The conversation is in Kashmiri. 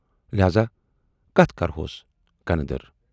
لہذا کتھ کرہوس کَنہٕ دٔر۔